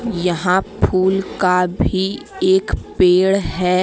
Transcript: यहां फूल का भी एक पेड़ है।